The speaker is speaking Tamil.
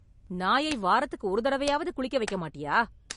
நாயை வாரத்துக்கு ஒரு தடவையாவது குளிக்க வைக்க மாட்டியா?